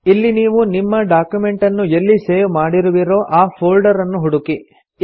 ಇಲ್ಲಿ ನೀವು ನಿಮ್ಮ ಡಾಕ್ಯುಮೆಂಟನ್ನು ಎಲ್ಲಿ ಸೇವ್ ಮಾಡಿರುವಿರೋ ಆ ಫೋಲ್ಡರನ್ನು ಹುಡುಕಿ